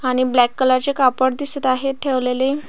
आणि black colour चे कापड दिसत आहेत ठेवलेले.